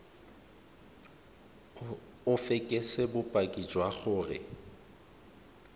o fekese bopaki jwa gore